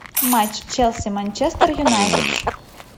матч челси манчестер юнайтед